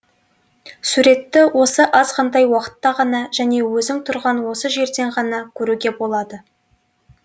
суретті осы азғантай уақытта ғана және өзің тұрған осы жерден ғана көруге болады